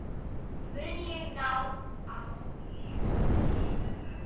Mun ég ná árangri?